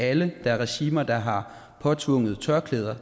alle der er regimer der har påtvunget tørklæde